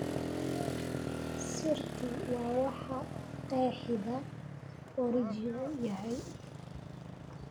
Sirtu waa waxa qeexida oranjigu yahay